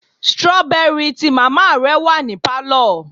strawberry tí mama ra ni àná wa ni palo